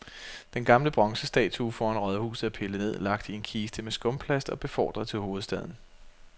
Den gamle bronzestatue foran rådhuset er pillet ned, lagt i en kiste med skumplast og befordret til hovedstaden.